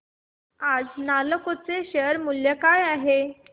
आज नालको चे शेअर मूल्य काय आहे